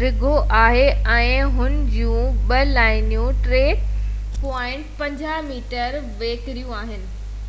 ڊگهو آهي ۽ هن جون ٻہ لائنون 3.50 ميٽر ويڪريون آهن